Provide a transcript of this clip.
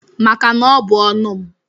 Maka na ọ bụ ọnu m.